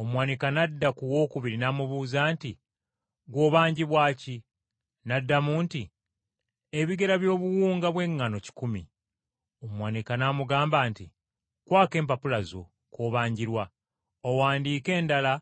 “Omuwanika n’adda ku wookubiri n’amubuuza nti, ‘Ggwe obanjibwa ki?’ “N’addamu nti, ‘Ebigera by’obuwunga bw’eŋŋaano kikumi.’ ” “Omuwanika n’amugamba nti, ‘Kwako empapula zo kw’obanjirwa, owandiike endala